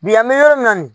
Bi an bɛ yɔrɔ min na nin